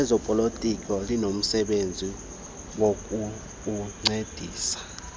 lezopolitiko linomsebenzi wokukuncedisa